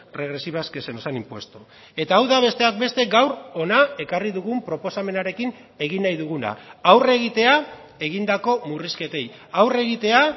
regresivas que se nos han impuesto eta hau da besteak beste gaur hona ekarri dugun proposamenarekin egin nahi duguna aurre egitea egindako murrizketei aurre egitea